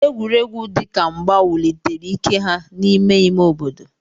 Egwuregwu dị ka mgba wulitere ike ha n'ime ime obodo.